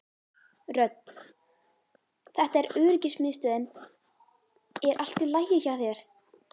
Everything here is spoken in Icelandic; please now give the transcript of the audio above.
Rödd: Þetta er öryggismiðstöðin er allt í lagi hjá þér?